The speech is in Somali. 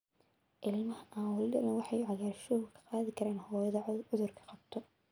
Ilmaha aan weli dhalan waxa uu cagaarshow ka qaadi karaa hooyadii cudurka qabta.